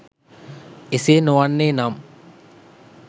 එසේ නොවන්නේ නම්